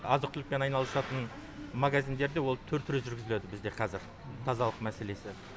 азық түлікпен айналысатын магазиндерде ол түр түрі жүргізіледі бізде кәзір тазалық мәселесі